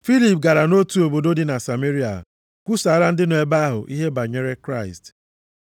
Filip gara nʼotu obodo dị na Sameria kwusaara ndị nọ nʼebe ahụ ihe banyere Kraịst.